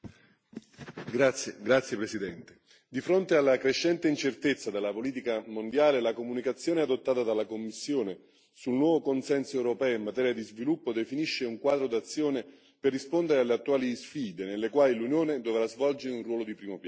Signor Presidente, onorevoli colleghi, di fronte alla crescente incertezza della politica mondiale, la comunicazione adottata dalla Commissione sul nuovo consenso europeo in materia di sviluppo definisce un quadro d'azione per rispondere alle attuali sfide nelle quali l'Unione dovrà svolgere un ruolo di primo piano.